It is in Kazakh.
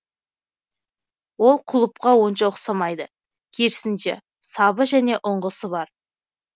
ол кұлыпқа онша ұқсамайды керісінше сабы және ұңғысы бар